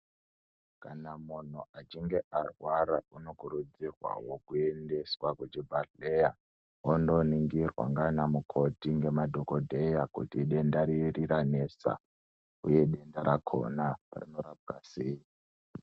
Kana munhu achinge arwara unokurudzirwawo kuendeswawo kuchibhedhelera, ondoningirwa ndiana mukoti kemadhogodheya kuti idenda riri ranesa, uye denda rakhona rinorapwa sei.